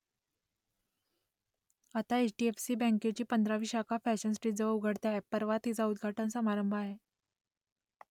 आता H D F C बँकेची पंधरावी शाखा फॅशन स्ट्रीटजवळ उघडते आहे परवा तिचा उद्घाटन समारंभ आहे